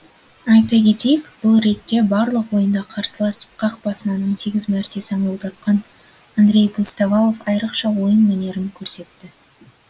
айта кетейік бұл ретте барлық ойында қарсылас қақпасынан он сегіз мәрте саңылау тапқан андрей пустовалов айрықша ойын мәнерін көрсетті